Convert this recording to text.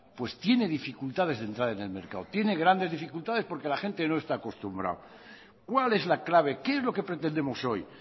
pues tiene dificultades de entrar en el mercado tiene grandes dificultades porque la gente no está acostumbrado cuál es la clave qué es lo que pretendemos hoy